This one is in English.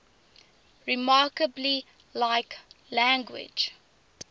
remarkably like language